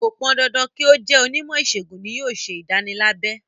Kò pọn dandan kí ó jẹ́ onímọ̀ ìṣègùn ni yóò ṣe ìdánilábẹ.